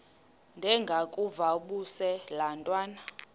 ndengakuvaubuse laa ntwana